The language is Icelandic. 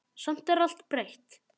Samt er allt breytt.